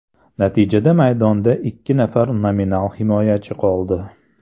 Natijada maydonda ikki nafar nominal himoyachi qoldi.